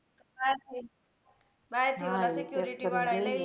બહાર થી બહાર થી ઓલા security વાળા એ લઇ લીધું તું એ ને